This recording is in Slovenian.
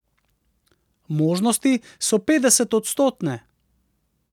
Možnosti so petdesetodstotne.